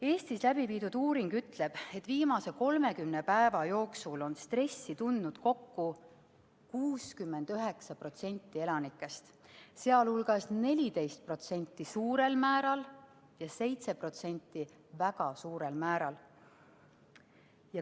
Eestis läbiviidud uuring ütleb, et viimase 30 päeva jooksul on stressi tundnud kokku 69% elanikest, sh 14% suurel määral ja 7% väga suurel määral.